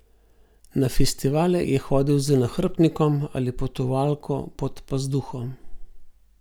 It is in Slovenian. Na festivale je hodil z nahrbtnikom ali potovalko pod pazduho.